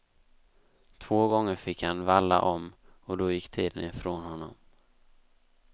Två gånger fick han valla om och då gick tiden ifrån honom.